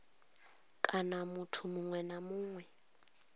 kana muthu muṅwe na muṅwe